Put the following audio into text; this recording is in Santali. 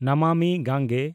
ᱱᱟᱢᱟᱢᱤ ᱜᱟᱝᱜᱮ